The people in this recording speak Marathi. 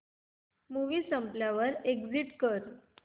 मूवी संपल्यावर एग्झिट कर